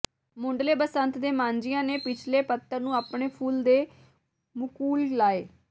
ਮੁਢਲੇ ਬਸੰਤ ਦੇ ਮਾਝੀਆਂ ਨੇ ਪਿਛਲੇ ਪੱਤਣ ਨੂੰ ਆਪਣੇ ਫੁੱਲ ਦੇ ਮੁਕੁਲ ਲਾਏ